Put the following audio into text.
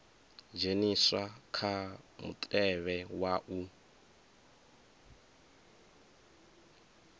dzheniswa kha mutevhe wa u